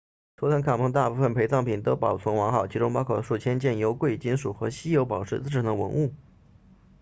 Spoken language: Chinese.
图坦卡蒙的大部分陪葬品都保存完好其中包括数千件由贵金属和稀有宝石制成的文物